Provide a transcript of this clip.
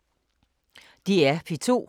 DR P2